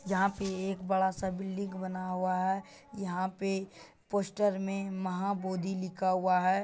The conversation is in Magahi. यहाँ पे एक बड़ा सा बिल्डिंग बना हुआ है। यहाँ पे पोस्टर में महाबोधि लिखा हुआ है।